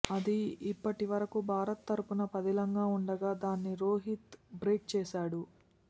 అది ఇప్పటివరకూ భారత్ తరపున పదిలంగా ఉండగా దాన్ని రోహిత్ బ్రేక్ చేశాడు